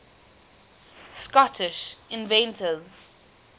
scottish inventors